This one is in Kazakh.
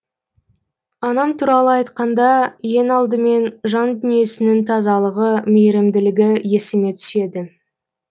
анам туралы айтқанда ең алдымен жан дүниесінің тазалығы мейірімділігі есіме түседі